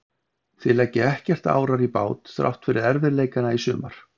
Þið leggið ekkert árar í bát þrátt fyrir erfiðleikana í sumar?